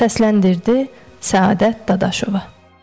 Səsləndirdi Səadət Dadaşova.